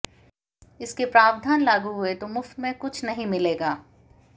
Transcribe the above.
इसके प्रावधान लागू हुए तो मुफ्त में कुछ नहीं मिलेगा